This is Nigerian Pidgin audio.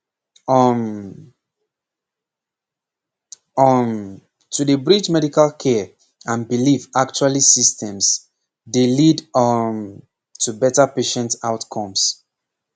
um pause um to dey bridge medical care and belief actually systems dey lead um to better patient outcomes